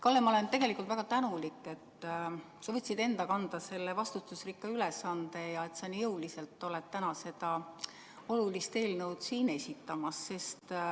Kalle, ma olen tegelikult väga tänulik, et sa võtsid enda kanda selle vastutusrikka ülesande ja et sa nii jõuliselt täna seda olulist eelnõu siin esitanud oled.